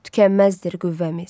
Tükənməzdir qüvvəmiz.